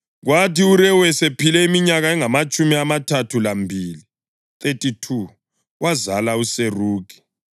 Kwathi uRewu esephile iminyaka engamatshumi amathathu lambili (32), wazala uSerugi.